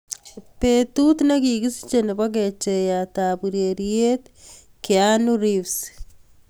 Betut negigisiche nebo kecheiyat ab ureriet keanu reeves